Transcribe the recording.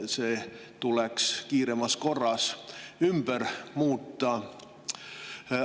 See tuleks kiiremas korras ära muuta.